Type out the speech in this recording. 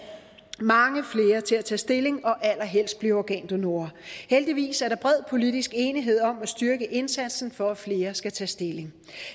mange flere til at tage stilling og allerhelst blive organdonorer heldigvis er der bred politisk enighed om at styrke indsatsen for at flere skal tage stilling